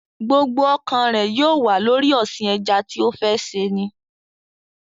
Gbogbo ọkàn rẹ̀ yóò wà lórí ọ̀sìn ẹja tí ó fẹ́ ṣe ni